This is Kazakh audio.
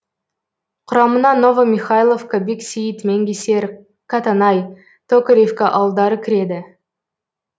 құрамына новомихайловка бексейіт менгесер катанай токаревка ауылдары кіреді